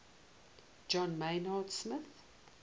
john maynard smith